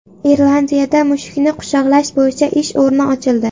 Irlandiyada mushukni quchoqlash bo‘yicha ish o‘rni ochildi.